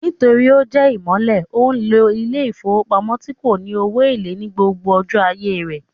Nítorí ó jẹ́ ìmọ̀le, ó lo ilé ìfowópamọ́ tí kò ní owó èlé ní gbogbo ọjọ́ ayé rẹ̀